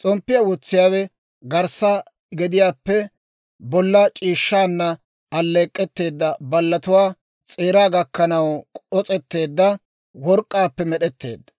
S'omppiyaa wotsiyaawe garssa gediyaappe bolla c'iishshaana alleek'k'etteedda ballatuwaa s'eeraa gakkanaw k'os'etteedda work'k'aappe med'etteedda.